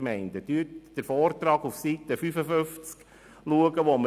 Sehen Sie sich Seite 55 des Vortrags an, den wir in der ersten Lesung erhielten.